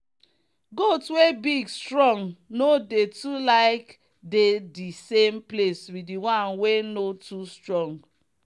goat wey big strong no dey too like dey the same place with the one wey no too strong.